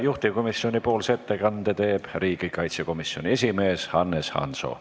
Juhtivkomisjoni ettekande teeb riigikaitsekomisjoni esimees Hannes Hanso.